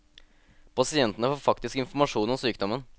Pasientene får faktisk informasjon om sykdommen.